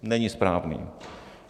Není správný.